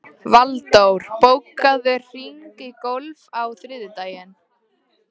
Valdór, bókaðu hring í golf á þriðjudaginn.